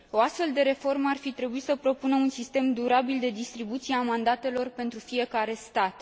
O astfel de reformă ar fi trebuit să propună un sistem durabil de distribuție a mandatelor pentru fiecare stat.